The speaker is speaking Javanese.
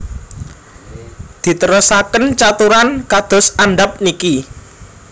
Diterasaken caturan kados andhap niki